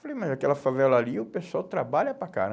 Falei, mas aquela favela ali, o pessoal trabalha para